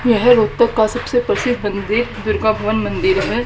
यह रोहतक का सबसे प्रसिद्ध मंदिर दुर्गा भवन मंदिर है।